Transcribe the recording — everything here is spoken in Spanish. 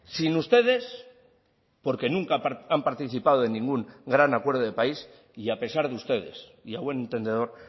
sin ustedes porque nunca han participado en ningún gran acuerdo de país y a pesar de ustedes y a buen entendedor